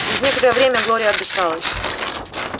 через некоторое время глория отдышалась